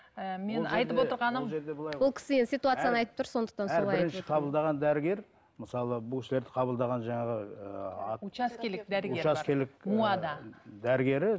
әр бірінші қабылдаған дәрігер мысалы бұл кісілерді қабылдаған жаңағы ыыы учаскелік дәрігер бар дәрігері